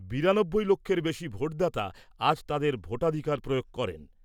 বিরানব্বই লক্ষের বেশি ভোটদাতা আজ তাঁদের ভোটাধিকার প্রয়োগ করেন।